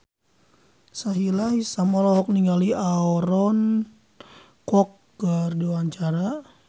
Sahila Hisyam olohok ningali Aaron Kwok keur diwawancara